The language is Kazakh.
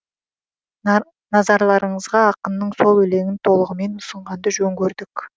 назарларыңызға ақынның сол өлеңін толығымен ұсынғанды жөн көрдік